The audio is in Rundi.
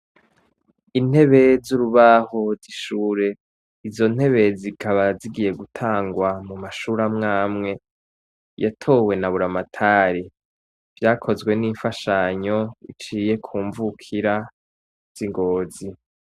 Intebe zurubaho zishure izo ntebe zikaba zigiye gutangwa mu mashure amwe amwe yatowe na Buramatari. Vyakozwe nimfashanyo iciye ku mvukira zi Ngozi.